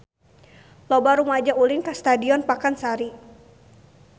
Loba rumaja ulin ka Stadion Pakansari